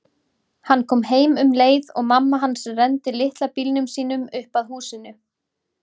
Hann kom heim um leið og mamma hans renndi litla bílnum sínum upp að húsinu.